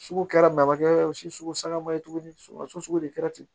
Sugu kɛra babakɛ o si sugu sangama ye tuguni suko de kɛra ten